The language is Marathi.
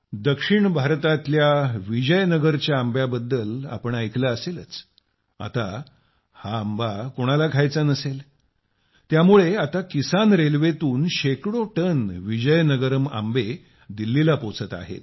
दक्षिण भारतात तुम्ही विजयनगरच्या आंब्याबद्दल ऐकले असेलच आता हा आंबा कोणाला खायचा नसेल त्यामुळे आता किसान रेल्वेतून शेकडो टन विजयनगरम आंबे दिल्लीला पोहोचत आहेत